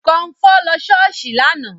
Kọmfọ́ lọ ṣọ́ọ̀ṣì lánàá